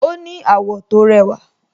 Ó ní àwọ̀ tó rẹwà